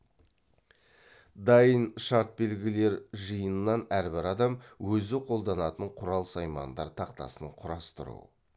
дайын шартбелгілер жиынынан әрбір адам өзі қолданатын құрал саймандар тақтасын құрастыру